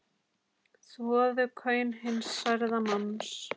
Þvoðu kaun hins særða manns.